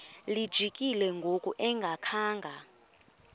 lijikile ngoku engakhanga